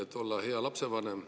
Et olla hea lapsevanem.